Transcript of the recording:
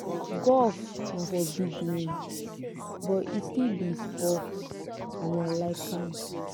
golf na for big men but e still be sport and i like am.